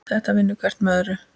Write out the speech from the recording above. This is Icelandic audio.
Þetta vinnur hvert með öðru.